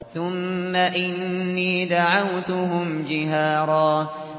ثُمَّ إِنِّي دَعَوْتُهُمْ جِهَارًا